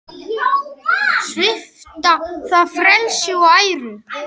Svipta það frelsi og æru.